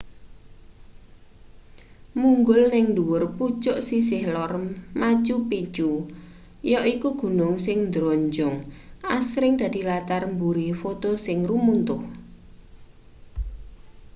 munggul ning ndhuwur pucuk sisih lor machu picchu yaiku gunung sing ndronjong asring dadi latar mburi foto sing rumuntuh